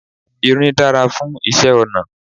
Irin dára fún iṣẹ́ ọnà.